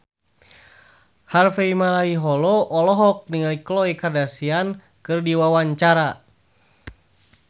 Harvey Malaiholo olohok ningali Khloe Kardashian keur diwawancara